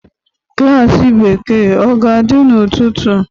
Klas Bekee ọ ga-adị n'ụtụtụ?